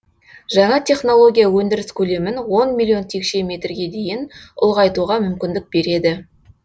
жаңа технология өндіріс көлемін он миллион текше метрге дейін ұлғайтуға мүмкіндік береді